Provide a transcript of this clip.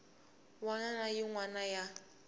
wana na yin wana ya